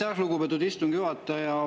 Aitäh, lugupeetud istungi juhataja!